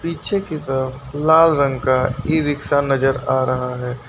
पीछे की तरफ लाल रंग का ई-रिक्शा नजर आ रहा है।